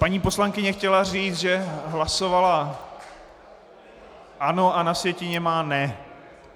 Paní poslankyně chtěla říct, že hlasovala ano, a na sjetině má ne.